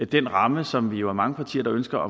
den ramme som vi jo er mange partier der ønsker og